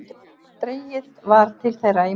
Dregið var til þeirra í morgun